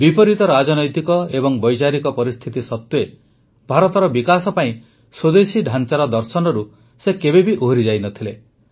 ବିପରୀତ ରାଜନୈତିକ ଏବଂ ବୈଚାରିକ ପରିସ୍ଥିତି ସତ୍ୱେ ଭାରତର ବିକାଶ ପାଇଁ ସ୍ୱଦେଶୀ ଢାଂଚାର ଦର୍ଶନରୁ ସେ କେବେ ଓହରି ଯାଇନଥିଲେ